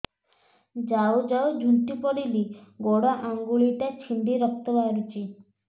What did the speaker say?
ଯାଉ ଯାଉ ଝୁଣ୍ଟି ପଡ଼ିଲି ଗୋଡ଼ ଆଂଗୁଳିଟା ଛିଣ୍ଡି ରକ୍ତ ବାହାରୁଚି